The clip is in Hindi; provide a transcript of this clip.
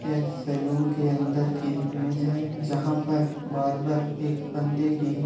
यह सैलून के अंदर की इमेज है जहाँ पर बार्बर एक बंदे की --